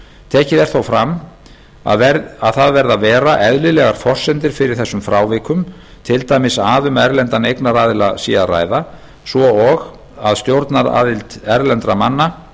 tekið er þó fram að það verði að vera eðlilegar forsendur fyrir þessum frávikum til dæmis að um erlenda eignaraðild er að ræða svo og stjórnaraðild erlendra manna